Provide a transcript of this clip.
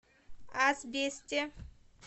асбесте